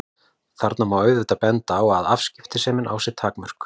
Þarna má auðvitað benda á að afskiptasemi á sér takmörk.